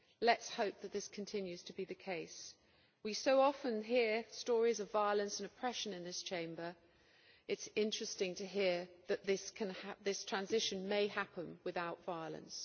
Let us hope that this continues to be the case. We so often hear stories of violence and oppression in this Chamber it is interesting to hear that this transition may happen without violence.